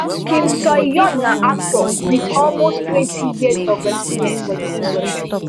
kim soohyun na actor wit almost twenty years of experience for di industry